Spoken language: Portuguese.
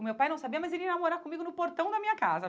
O meu pai não sabia, mas ele ia namorar comigo no portão da minha casa.